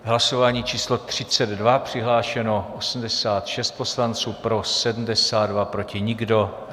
Hlasování číslo 32, přihlášeno 86 poslanců, pro 72, proti nikdo.